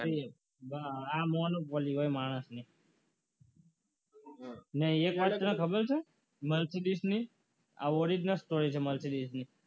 આ મોનોપોલી હોય માણસને ને એક હાથે ખબર છે mercedes ની આ ઓરીજનલ સ્ટોરી છે mercedes